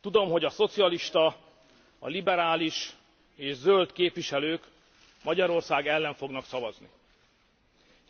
Tudom, hogy a szocialista, a liberális és zöld képviselők Magyarország ellen fognak szavazni,